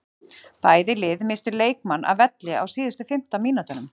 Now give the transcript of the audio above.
Bæði lið misstu leikmann af velli á síðustu fimmtán mínútunum.